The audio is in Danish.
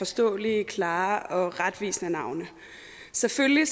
forståelige klare og retvisende navne selvfølgelig